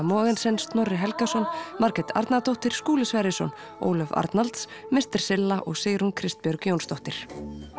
Mogensen Snorri Helgason Margrét Arnardóttir Skúli Sverrisson Ólöf Arnalds silla og Sigrún Kristbjörg Jónsdóttir